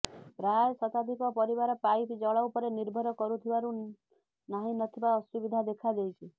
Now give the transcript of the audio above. ପ୍ରାୟ ଶତାଧିକ ପରିବାର ପାଇପ ଜଳ ଉପରେ ନିର୍ଭର କରୁଥିବାରୁ ନାହିଁ ନ ଥିବା ଅସୁବିଧା ଦେଖାଦେଇଛି